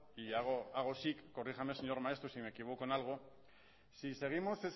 y hago así corríjame señor maeztu si me equivoco en algo si seguimos